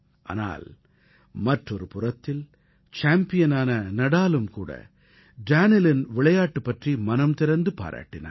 ஆனால் மற்றொரு புறத்தில் சேம்பியனான நாடாலும் கூட டேனிலின் விளையாட்டு பற்றி மனம் திறந்து பாராட்டினார்